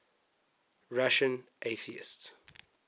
russian atheists